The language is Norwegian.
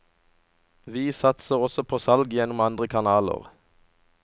Vi satser også på salg gjennom andre kanaler.